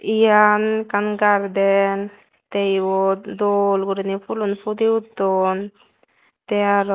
eyen ekkan garden teh eyot dol guriney phoolon pudi uton teh aro.